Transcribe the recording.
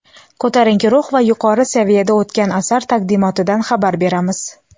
Ko‘tarinki ruh va yuqori saviyada o‘tgan asar taqdimotidan xabar beramiz!.